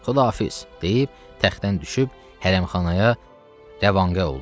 Xudafiz, deyib təxtdən düşüb hərəmxanaya rəvanqə oldu.